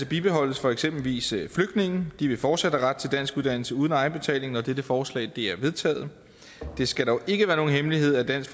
bibeholdes for eksempelvis flygtninge de vil fortsat have ret til danskuddannelse uden egenbetaling når dette forslag er vedtaget det skal dog ikke være nogen hemmelighed at dansk